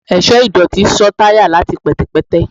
ẹṣọ idotí ṣọ tayá latí pẹtẹpẹtẹ